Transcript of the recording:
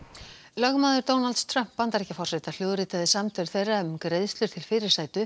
lögmaður Donalds Trump Bandaríkjaforseta hljóðritaði samtöl þeirra um greiðslur til fyrirsætu